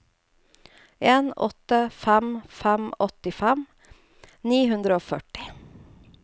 en åtte fem fem åttifem ni hundre og førti